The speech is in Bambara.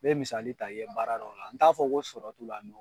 Be misali ta i ye baara dɔ la, n t'a fɔ ko sɔrɔ t'u la